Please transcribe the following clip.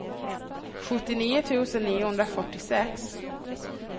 sjuttionio tusen niohundrafyrtiosex